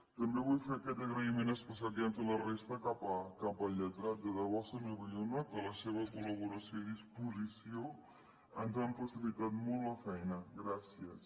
també vull fer aquest agraïment especial que ja han fet la resta cap al lletrat de debò senyor bayona que la seva col·laboració i disposició ens han facilitat molt la feina gràcies